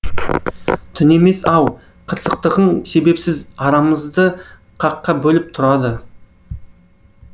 түнемес ау қырсықтығың себепсіз арамызды қаққа бөліп тұрады